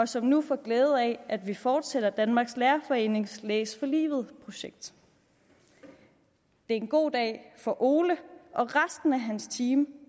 som nu får glæde af at vi fortsætter danmarks lærerforenings læs for livet projekt det er en god dag for ole og resten af hans team